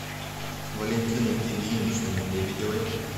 валентины ильиничны лебедевой